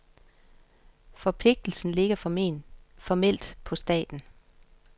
Forpligtelsen ligger formelt på staten.